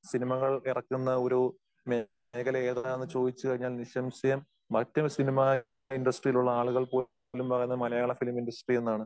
സിനിമകൾ ഇറക്കുന്ന ഒരു മേഖല ഏതാന്ന് ചോദിച്ചുകഴിഞ്ഞാൽ നിസംശയം മറ്റ് സിനിമ ഇൻഡസ്ട്രിയിൽ ഉള്ള ആളുകൾപോലും പറയുന്നത് മലയാള ഫിലിം ഇൻഡസ്ട്രി എന്നാണ്.